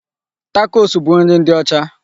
Takos bụ nri ndị ọcha.